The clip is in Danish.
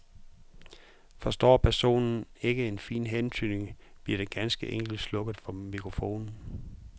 Forstår personen ikke en fin hentydning, bliver der ganske enkelt slukket for mikrofonen.